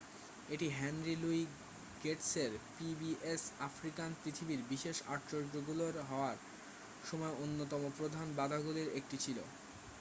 এটি Henry Louis গেটসের PBS African পৃথিবীর বিশেষ আশ্চর্যগুলো হওয়ার সময় অন্যতম প্রধান বাধাগুলোর একটি ছিল